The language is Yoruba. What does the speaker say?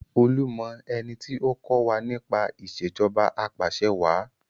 Olú mọ ẹni tí ó kọ́ wa nípa Ìṣèjọba Apàṣẹwàá